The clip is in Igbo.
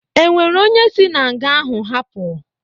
E nwere onye si na nga ahụ hapụ?